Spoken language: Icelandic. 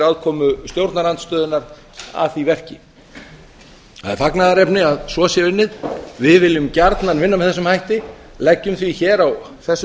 aðkomu stjórnarandstöðunnar að því verki það er fagnaðarefni að svo sé unnið við viljum gjarnan vinna með þessum hætti leggjum því hér á þessu